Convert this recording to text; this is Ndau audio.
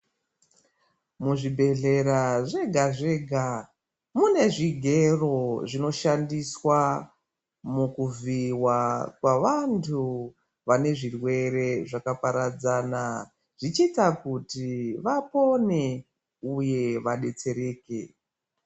Muzvibhedhlera zvega zvega mune zvigero zvinoshandiswa mukuvhiiwa kwevantu vane zvirwere zvakaparadzana zvichiita kuti vapone uye vadetsereke.